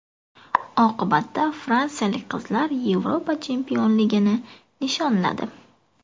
Oqibatda fransiyalik qizlar Yevropa chempionligini nishonladi.